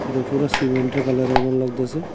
এটা ফুরা সিমেন্টের কালারের মতন লাগতাসে।